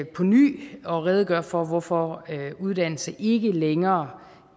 på ny at redegøre for hvorfor uddannelse ikke længere